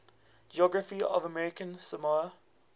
geography of american samoa